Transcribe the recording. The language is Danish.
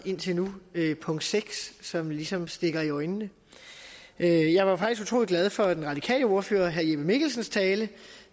indtil nu punkt seks som ligesom stikker i øjnene jeg var faktisk utrolig glad for den radikale ordfører herre jeppe mikkelsens tale